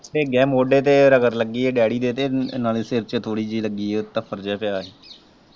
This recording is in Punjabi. ਮੋਢੇ ਤੇ ਰੱਗੜ ਲੱਗੀ ਹੈ ਡੈਡੀ ਦੇ ਤੇ ਨਾਲ ਸਿਰ ਤੇ ਥੋੜੀ ਜਿਹੀ ਲੱਗੀ ਹੈ ਤਫੜ ਜਿਹਾ ਪਿਆ ਹੈ।